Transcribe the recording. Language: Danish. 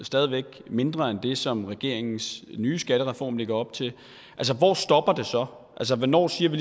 stadig mindre end det som regeringens nye skattereform lægger op til altså hvornår siger vi